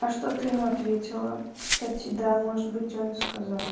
а что ты ему ответила кстати да может быть он и сказал